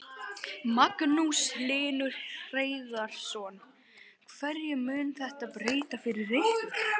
Magnús Hlynur Hreiðarsson: Hverju mun þetta breyta fyrir ykkur?